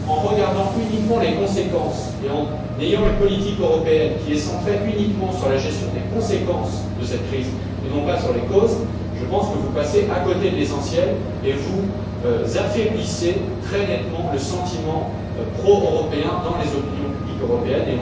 En considérant uniquement les conséquences et en vous limitant à une politique européenne centrée sur la gestion des conséquences de cette crise, et non sur les causes, je pense que vous passez à côté de l'essentiel et que vous affaiblissez, très nettement, le sentiment pro européen dans les opinions publiques européennes.